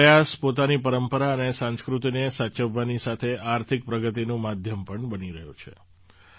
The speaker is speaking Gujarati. આ પ્રયાસ પોતાની પરંપરા અને સંસ્કૃતિને સાચવવાની સાથે આર્થિક પ્રગતિનું માધ્યમ પણ બની રહ્યો છે